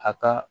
A ka